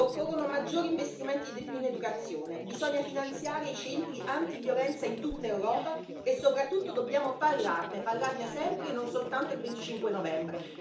Occorrono maggiori investimenti in educazione, bisogna finanziare i centri antiviolenza in tutta Europa e soprattutto dobbiamo parlarne, parlarne sempre e non soltanto il 25 novembre.